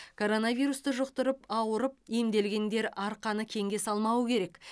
коронавирусты жұқтырып ауырып емделгендер арқаны кеңге салмауы керек